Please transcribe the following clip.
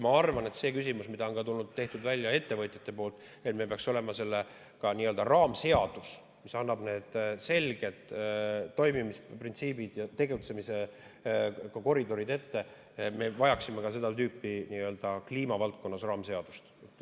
Ma arvan – kuna on toodud välja ettevõtjate poolt, et meil peaks olema ka nii-öelda raamseadus, mis annab selged toimimisprintsiibid ja tegutsemiskoridorid ette –, et me vajaksime ka kliimavaldkonnas seda tüüpi raamseadust.